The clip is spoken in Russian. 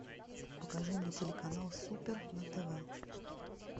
покажи мне телеканал супер на тв